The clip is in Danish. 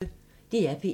DR P1